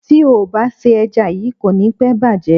Tí o bá se ẹja yíì, kò ní pẹ́ bàjẹ́.